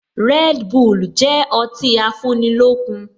Red bull jẹ ọtí afúnilókun